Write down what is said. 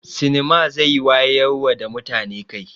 Sinima zai wayarwa da mutane kai.